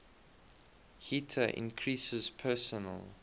heater increases personal